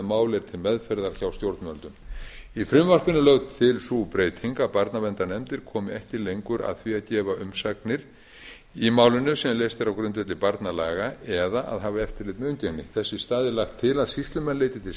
er til meðferðar hjá stjórnvöldum í frumvarpinu er lögð til sú breyting að barnaverndarnefndir komi ekki lengur að því að gefa umsagnir í mál sem leyst er á grundvelli barnalaga eða að hafa eftirlit með umgengni þess í stað er lagt til að sýslumenn leiti til